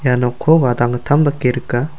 ia nokko gadanggittam dake rika.